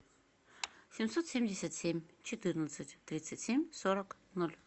семьсот семьдесят семь четырнадцать тридцать семь сорок ноль